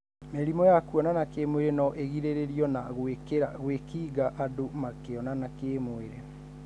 Mĩrimũ ya kũonana kĩmwirĩ no ĩrigĩrĩrio na gwĩkinga andũ makionana kĩmwirĩ.